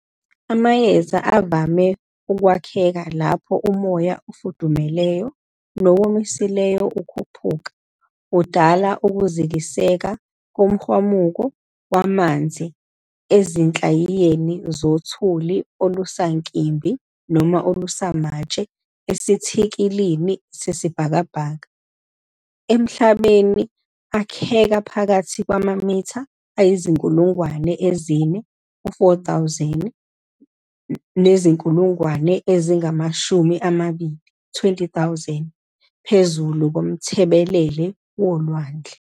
Amayezi avame ukwakheka lapho umoya ofudumeleyo, nowomisileyo ukhuphuka, udala ukuzikiseka komhwamuko wamanzi ezinhlayiyeni zothuli olusankimbi noma olusamatshe esithikilini sesibhakabhaka. Emhlabeni, akheka phakathi kwamamitha ayizinkulngwane ezine, 4,000, nezinkulungwane eziingamashumi amabili, 20,000, phezu komthebelele wolwandle.